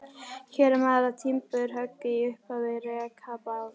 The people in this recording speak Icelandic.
Hér er maður að timburhöggi í upphafi rekabálks.